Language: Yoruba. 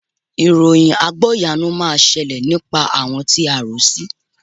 Ìròyìn àgbọ́yanu máa ṣẹlẹ̀ nípa àwọn tí a ò rò sí